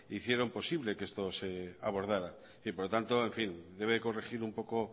hicieron posible que esto se abordara por lo tanto en fin debe corregir un poco